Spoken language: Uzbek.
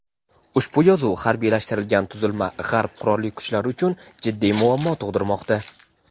ushbu yovuz harbiylashtirilgan tuzilma G‘arb qurolli kuchlari uchun jiddiy muammo tug‘dirmoqda.